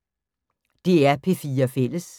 DR P4 Fælles